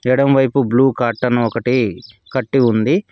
ఎడమవైపు blue carton ఒకటి కట్టి ఉంది.